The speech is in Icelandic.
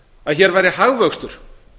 að hér væri hagvöxtur